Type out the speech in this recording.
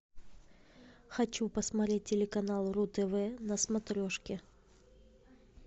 хочу посмотреть телеканал ру тв на смотрешке